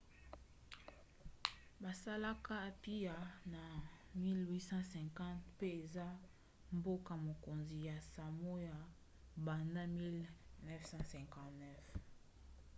basalaka apia na 1850 mpe eza mboka-mokonzi ya samoa banda 1959